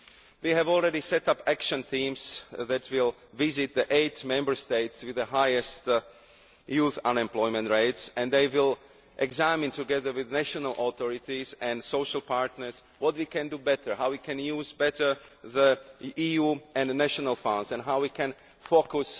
We have already set up action teams that will visit the eight Member States with the highest youth unemployment rates and they will examine, together with national authorities and social partners, what we can do better, how we can make better use of EU and national funds and how we can focus